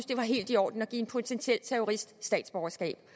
det var helt i orden at give en potentiel terrorist statsborgerskab